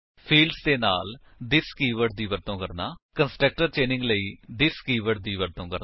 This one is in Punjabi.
ਫਿਲਡਸ ਦੇ ਨਾਲ ਥਿਸ ਕੀਵਰਡ ਦੀ ਵਰਤੋ ਕਰਨਾ ਕੰਸਟਰਕਟਰਸ ਚੇਨਿੰਗ ਲਈ ਥਿਸ ਕੀਵਰਡ ਦੀ ਵਰਤੋ ਕਰਨਾ